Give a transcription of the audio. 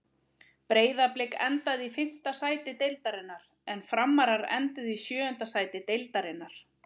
Breiðablik endaði í fimmta sæti deildarinnar en Framarar enduðu í sjöunda sæti deildarinnar.